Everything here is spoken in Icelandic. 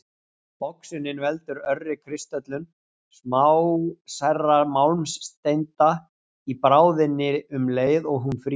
Oxunin veldur örri kristöllun smásærra málmsteinda í bráðinni um leið og hún frýs.